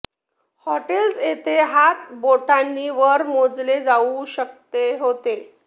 hotels येथे हात बोटांनी वर मोजले जाऊ शकते होते